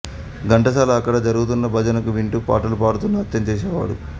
ఘంటసాల అక్కడ జరుగుతున్న భజనలు వింటూ పాటలు పాడుతూ నాట్యం చేసేవాడు